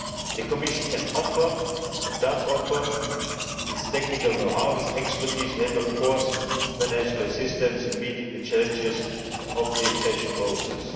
The Commission can offer, and does offer, its technical know-how, its expertise and, of course, financial assistance in meeting the challenges of the accession process.